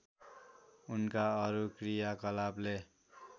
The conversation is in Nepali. उनका अरू क्रियाकलापले